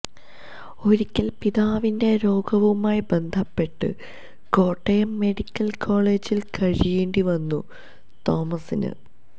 ഒരിക്കൽ പിതാവിന്റെ രോഗവുമായി ബന്ധപ്പെട്ട് കോട്ടയം മെഡിക്കൽ കോളജിൽ കഴിയേണ്ടി വന്നു തോമസിന്